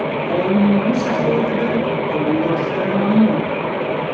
Olimning bu saxovatidan ovuldoshlari mamnun.